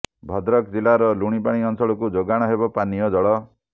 ଭଦ୍ରକ ଜିଲ୍ଲାର ଲୁଣିପାଣି ଅଞ୍ଚଳକୁ ଯୋଗାଣ ହେବ ପାନୀୟ ଜଳ